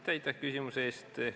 Aitäh küsimuse eest!